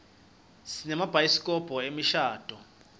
sinemabhayisikobho emishadvo